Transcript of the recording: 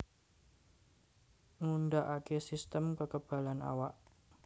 Ngundhakake sistem kekebalan awak